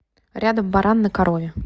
рядом баран на корове